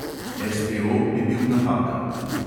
SPO bi bil napaka.